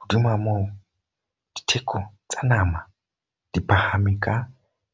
Hodima moo, ditheko tsa nama di phahame ka